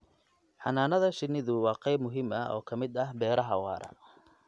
Xannaanada shinnidu waa qayb muhiim ah oo ka mid ah beeraha waara.